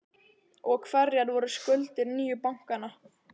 Og hverjar voru skuldir nýju bankanna?